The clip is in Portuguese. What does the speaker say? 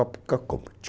Ópcocompt